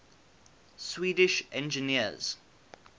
swedish engineers